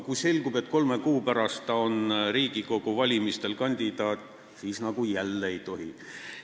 Kui aga selgub, et kolme kuu pärast on ta Riigikogu valimistel kandidaat, siis justkui jälle ei tohi.